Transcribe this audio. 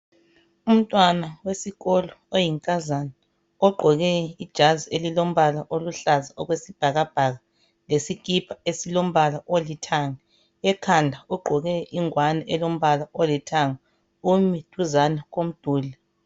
Umntwana wesikolo oyinkazana ogqoke ijazi elilombala oluhlaza okwesibhakabhaka lesikipa esilombala olithanga. Ekhanda ugqoke ingwane elombala olithanga umi duzani komduli .